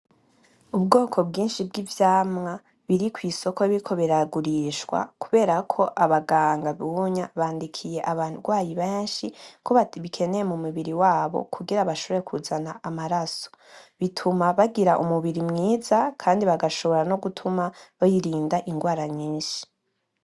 Ubwoko bwinshi bw'ivyamwa biri kwisoko biriko biragurishwa kubera ko abaganga ubunya bandikirye abagwayi benshi ko babikeneye mu mubiri wabo kugira bashobore kuzana amaraso bituma bagira umubiri mwiza kandi bagashobora no gutuma birinda ingwara nyinshi.